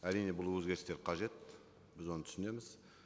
әрине бұл өзгерістер қажет біз оны түсінеміз